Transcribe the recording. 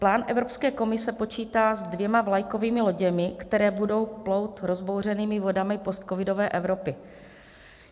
Plán Evropské komise počítá se dvěma vlajkovými loděmi, které budou plout rozbouřenými vodami postcovidové Evropy.